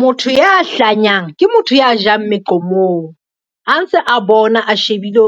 Motho ya hlanyang ke motho ya jang meqomong, a ntse a bona a shebile